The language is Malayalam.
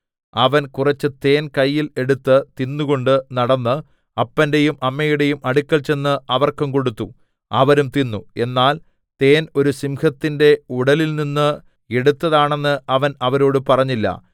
അവൻ കുറച്ച് തേൻ കയ്യിൽ എടുത്ത് തിന്നുകൊണ്ട് നടന്ന് അപ്പന്റെയും അമ്മയുടെയും അടുക്കൽ ചെന്ന് അവർക്കും കൊടുത്തു അവരും തിന്നു എന്നാൽ തേൻ ഒരു സിംഹത്തിന്റെ ഉടലിൽനിന്ന് എടുത്തതാണെന്ന് അവൻ അവരോട് പറഞ്ഞില്ല